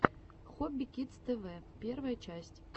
хобби кидс тэ вэ первая часть